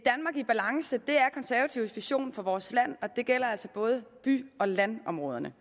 i balance er konservatives vision for vores land og det gælder altså både by og landområderne